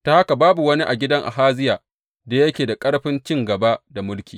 Ta haka babu wani a gidan Ahaziya da yake da ƙarfin cin gaba da mulkin.